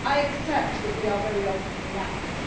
I accept that we are very often reactive,